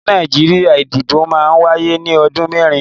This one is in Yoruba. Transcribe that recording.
Ni Nàìjíríà, ìdìbò máa ń wáyé ní ọdún mẹ́rin.